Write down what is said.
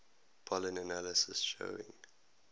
pollen analysis showing